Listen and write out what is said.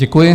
Děkuji.